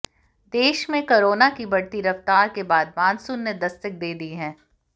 देश में कोरोना की बढ़ती रफ्तार के बीच मानसून ने दस्तक दे दी है